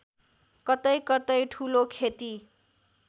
कतैकतै ठूलो खेती